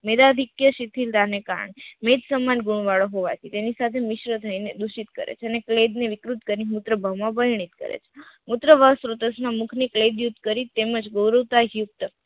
મેધકીય શિથિરતા કારણે વેદ સંબંધ ગુણ વાળો હોવાથી તેની સાથે મિશ્ર થઈને દુષિત કરે છે અને પ્લેગ ને વિકૃત કરીને મૂત્રભાવ માં વર્ણિત કરે છે, મૂત્રસ્ત્રોત ના મુખ થી પ્લેગ યુક્ત કરી તેમજ બોરકતા યુક્ત